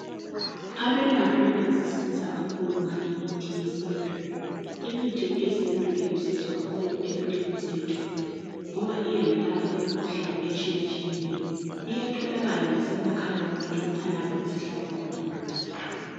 abelaphi bayazisiza kakhulu ngale imithi yesintu imithi eyesintu ilusizo kakhulu empilweni zethu ngoba iyayilapha i imikhuhlane etshiyatshiyeneyo iyatholakala lasemakhaya wethu lalapho esihlala khona duze